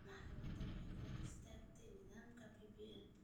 Maxkamaddu waxay hor istaagtay nidaamka BBI.